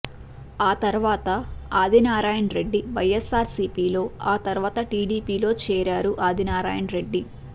ఆ తర్వాత ఆదినారాయణరెడ్డి వైఎస్ఆర్సీపీలో ఆ తర్వాత టీడీపీలో చేరారు ఆదినారాయణరెడ్డి